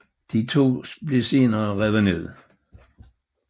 De to blev senere revet ned